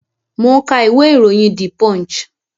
Mo ń ka ìwé iroyin "The Punch".